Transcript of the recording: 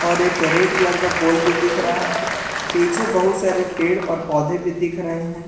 और एक red colour का पोल भी दिख रहा है पीछे बहुत सारे पेड़ और पौधे भी दिख रहे हैं।